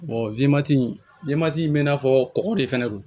wmati in bɛ n'a fɔ kɔgɔ de fɛnɛ don